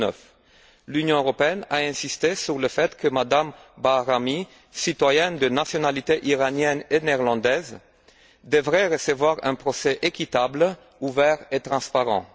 2009. L'Union européenne a insisté sur le fait que Mme Bahrami, citoyenne de nationalités iranienne et néerlandaise, devrait bénéficier d'un procès équitable, ouvert et transparent.